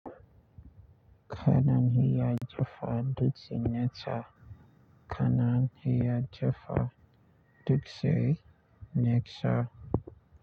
Kana iya jefa dutse nesa kanan ya jefa dutse netsa.